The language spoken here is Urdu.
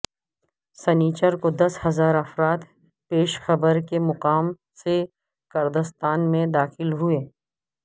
سینیچر کو دس ہزار افراد پیشخبر کے مقام سے کردستان میں داخل ہوئے